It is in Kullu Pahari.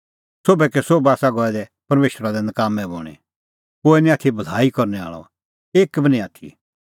सोभ आसा गऐ दै कबाता पेठी सोभै कै सोभै आसा गऐ दै परमेशरा लै नकाम्मैं बणीं कोहै निं आथी भलाई करनै आल़अ एक बी निं आथी